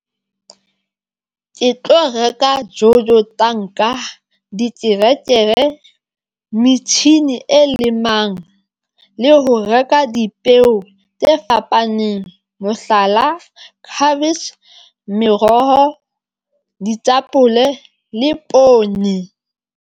Ke tlo reka Jojo tanka, diterekere, metjhini e lemang le ho reka dipeo tse fapaneng mohlala, cabbage meroho, ditapole le poone.